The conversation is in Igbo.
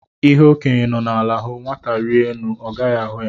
Ihe okenye nọ ala hụ, nwata rịa elu ọ gaghị ahụ ya